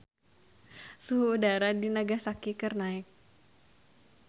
Suhu udara di Nagasaki keur naek